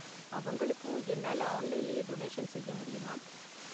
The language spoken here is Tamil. அவங்களுக்கும் என்னால ஆன்லைன்லயே டொனேஷன் செய்ய முடியுமா?